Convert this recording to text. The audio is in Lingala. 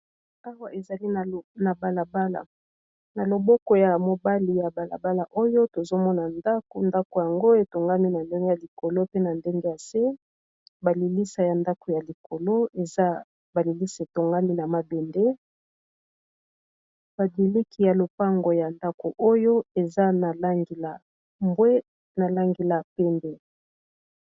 Awa ezali na balabala na loboko ya mobali ya balabala oyo tozomona ndako, ndako ango etongami na ndenge ya likolo pe na ndenge ya se balilisa ya ndako ya likolo eza balilisa etongami na mabende badiliki ya lopango ya ndako oyo eza na langi la mbwe na langi la pembe.